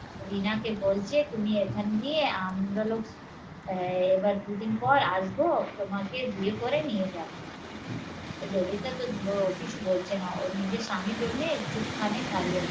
রিনাকে বলছে তুমি এখান দিয়ে আমরা লগ আহ এবার দুদিন পর আসবো তোমাকে বিয়ে করে নিয়ে যাবো এই ললিটা তো কিছু বলছে না ওর নিজের স্বামীর জন্যে চুপ খানে দাড়িয়ে আছে